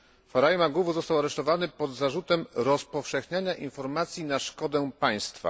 Farai Maguwu został aresztowany pod zarzutem rozpowszechniania informacji na szkodę państwa.